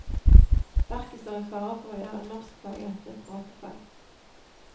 Verket står i fare for å gjøre norskfaget til et pratefag.